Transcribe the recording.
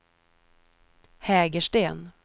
Hägersten